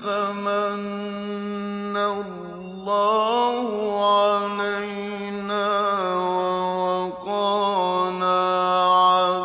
فَمَنَّ اللَّهُ عَلَيْنَا وَوَقَانَا